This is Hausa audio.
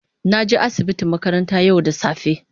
na je asibiti makaranta yau da safe.